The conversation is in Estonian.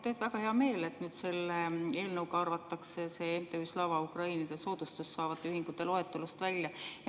Mul on väga hea meel, et nüüd selle eelnõuga arvatakse MTÜ Slava Ukraini soodustust saavate ühingute loetelust välja.